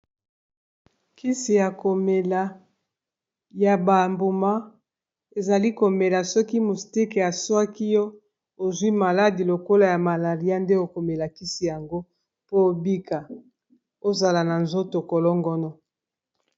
Kisi ya komela ya ba mbuma ezali komela soki moustike aswaki yo ozwi maladi lokolo ya malaria nde okomela kisi yango po obika ozala na nzoto kolongono.